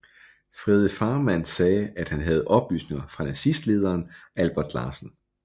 Frede Farmand sagde at han havde oplysningerne fra nazistlederen Albert Larsen